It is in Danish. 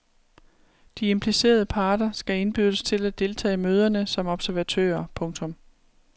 De implicerede parter skal indbydes til at deltage i møderne som observatører. punktum